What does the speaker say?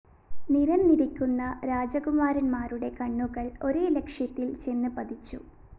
നിരന്നിരിക്കുന്ന രാജകുമാരന്മാരുടെ കണ്ണുകള്‍ ഒരേ ലക്ഷ്യത്തില്‍ ചെന്ന് പതിച്ചു